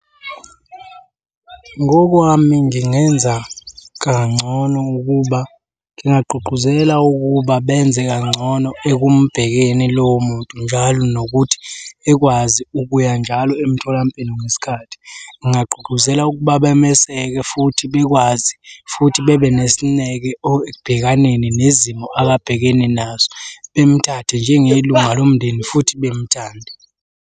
Ngokwami ngingenza kangcono ukuba ngingagqugquzela ukuba benze kangcono ekumbhekeni lowo muntu njalo nokuthi ekwazi ukuya njalo emtholampilo ngesikhathi. Ngingagqugquzela ukuba bameseke futhi bekwazi futhi bebe nesineke ekubhekaneni nezimo ababhekene nazo. Bemuthathe njengelunga lomndeni futhi bemthande.